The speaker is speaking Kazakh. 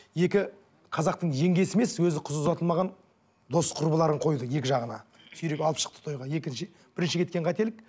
екі қазақтың жеңгесі емес өзі қыз ұзатылмаған дос құрбыларын қойды екі жағына сүйреп алып шықты тойға екінші бірінші кеткен қателік